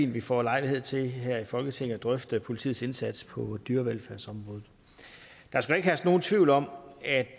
vi får lejlighed til her i folketinget at drøfte politiets indsats på dyrevelfærdsområdet der skal ikke herske nogen tvivl om at